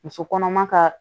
Muso kɔnɔma ka